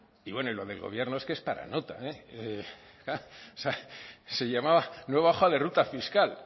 y bueno y lo del gobierno es que es para nota o sea se llamaba nueva hoja de ruta fiscal